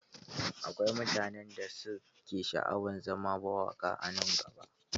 Akwai mutanen da su ke sha'awan zama mawaƙa a nan gaba.